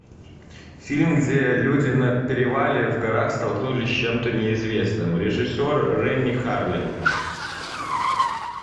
фильм где люди на перевале в горах столкнулись с чем то неизвестным режиссер ренни харлин